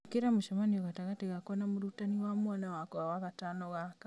ĩkĩra mũcemanio gatagatĩ gakwa na mũrutani wa mwana wakwa wagatano gaka